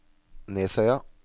Nesøya